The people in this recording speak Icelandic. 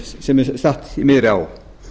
sem er statt í miðri á